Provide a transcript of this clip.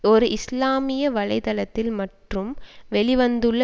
ஒரு இஸ்லாமிய வலை தளத்தில் மட்டும் வெளி வந்துள்ள